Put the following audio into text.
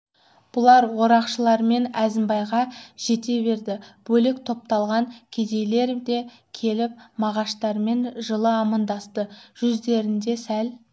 бұлар орақшылар мен әзімбайға жете берді бөлек топталған кедейлер де келіп мағаштармен жылы амандасты жүздерінде сәл